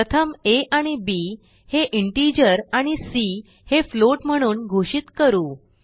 प्रथम आ आणि बी हे इंटिजर आणि सी हे फ्लोट म्हणून घोषित करू